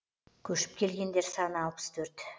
көшіп келгендер саны алпыс төрт